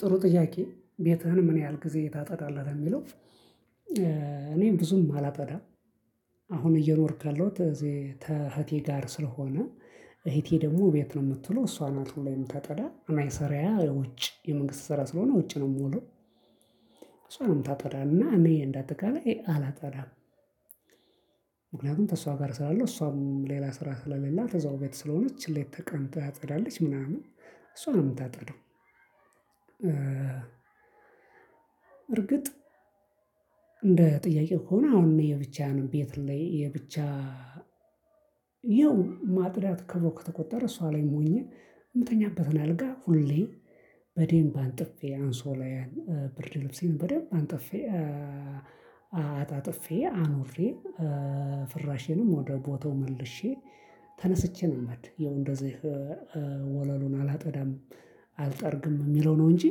ጥሩ ጥያቄ ቤትህን ምን ያህል ጊዜ ታፀወደለህ ለሚለው? እኔም ብዙም አላፀዳም። አሁን እየኖርካለሁት እዚህ ከህቴ ጋር ስለሆነ። እህቴ ደግሞ ቤት ነው የምትውለው እሷን ናት ሁሌ የምታፀዳ እኔና ስርየ ውጭ የመንግስት ሰራ ስለሆነ ውጭ ነው የምውለው። እሷ ነው ምታፀዳ እና እኔ እንዳጠቃላይ አላፀዳም። ምክንያቱም ከእሷ ጋር እሰራለሁ እሷም ሌላ ስራ ስለሌላት እዘው ቤት ስለሆነች ሌት ተቀን ታፀዳለች ምናምን እሷ ነው የምታፀደው። እርግጥ። እንደ ጥያቄ ሆኖ አሁን የብቻህን ቤት ላይ የብቻ ይኸው ማፃዳት ተብሎ እሷ ላይ ሁኜ የምተኛበትን አልጋ ሁሌ በደንብ አንጥፌ አንሶላያን ብርድ ልብሴን በደንብ አንጥፌ። አጣጥፌ አኑሬ ፍራሼንም ወደ ቦታው መልሼ ተነስቼ ነው ምሄድ የውን እንደዚህ ወለሉን አላፀዳም። አልጠርግም የሚለው ነው እንጂ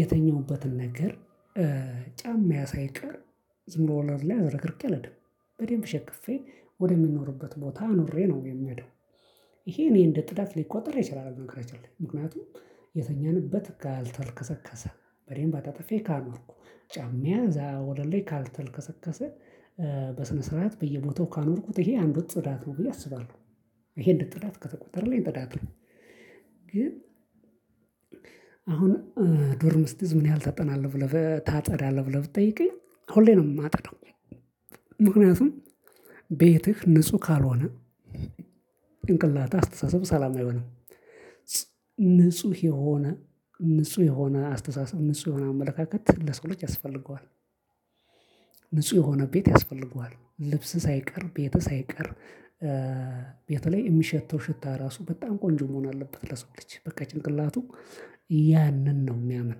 የተኛሁበትን ነገር ጫማየ ሳይቀር ዝም ብሎ ወላል ላይ አዘረክርኬ አልሄድም በደንብ ሸክፌ ወደሚኖርበት ቦታ አኑሬ ነው የምሄደው። ይሄ እኔ እንደ ጥዳት ሊቆጥር ይችላል። ምክንያቱም የተኛንበት ካልተልከሰከሰ በደንብ አጣጥፌ ካኖርኩ ጫማየ ወለሌ ላይ ካልተልከሰከሰ በስነ ስርዓት በየቦታው ካኖርኩት ይሄ አንዱን ጽዳት ነው ብዬ አስባለሁ። ይሄን እንደ ፃዳት ከተቆጠረኝ ጥዳት ነው። ግን አሁን ዶርም ስትይዝ ምን ያህል ታጠናለህ? ብለህ ታፃዳለህ ብለህ ብትጠይቀኝ አሁን ላይ ነው የማጸዳው። ምክንያቱም ቤትህ ንጹህ ካልሆነ ጭንቅላትህ አስተሳሰብ ሰላም አይሆንም። ንጹህ የሆነ ንጹህ የሆነ አስተሳሰብ ንጹህ የሆነ አመለካከት ለሰው ልጅ ያስፈልገዋል። ንጹህ የሆነ ቤት ያስፈልገዋል ልብስ ሳይቀር ቤት ሳይቀር ቤት ላይ የሚሸተው ሽታ ራሱ በጣም ቆንጆ መሆን አለበት ለሰው ልጅ በቃ ጭንቅላቱ ያንን ነው የሚያምን።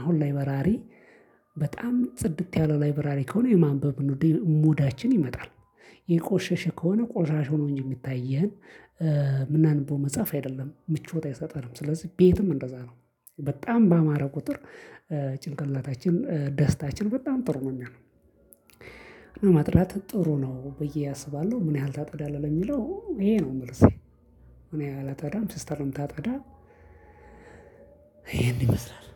አሁን ላይበራሪ በጣም ጽድት ያለ ላይበራሪ ከሆነ የማንበብ ሙዳችን ይመጣል። የቆሸሸ ከሆነ ቆሻሻ ሆኖ እንጂ የሚታየን ምናንብበው መጽሐፍ አይደለም ምቾት አይሰጥም። ስለዚህ ቤትም እንደዛ ነው። በጣም በአማራ ቁጥር ጭንቅላታችን ደስታችን በጣም ጥሩ ነው። የሚሆነውኛ እና ማፃዳት ጥሩ ነው ብዬ አስባለሁ። ምን ያህል ታጸዳለህ የሚለው ይሄ ነው መልሴ። እኔ አላፀዳም ሲስተር ነው ምታጠፀዳ። ይሄንን ይመስላል።